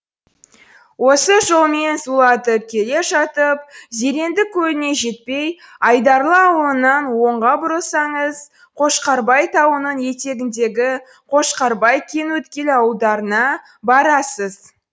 осы жолмен зулатып келе жатып зеренді көліне жетпей айдарлы ауылынан оңға бұрылсаңыз қошқарбай тауының етегіндегі қошқарбай кеңөткел ауылдарына барасыз